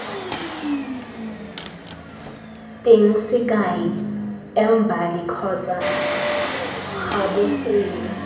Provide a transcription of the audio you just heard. teng sekai embali kgotsa gabosela